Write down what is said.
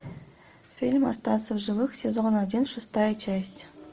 фильм остаться в живых сезон один шестая часть